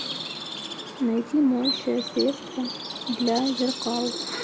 найти моющее средство для зеркал